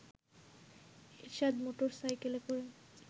এরশাদ মোটরসাইকেলে করে